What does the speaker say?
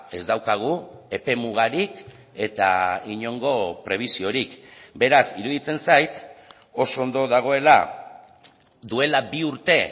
ez daukagu epe mugarik eta inongo prebisiorik beraz iruditzen zait oso ondo dagoela duela bi urte